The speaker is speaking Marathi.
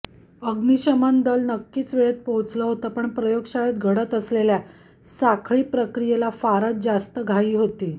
अग्निशमनदल नक्कीच वेळेत पोहोचलं होतं पण प्रयोगशाळेत घडत असलेल्या साखळी प्रक्रियेला फारच जास्त घाई होती